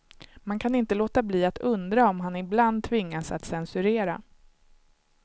Man kan inte låta bli att undra om han ibland tvingas att censurera.